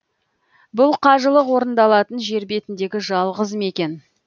бұл қажылық орындалатын жер бетіндегі жалғыз мекен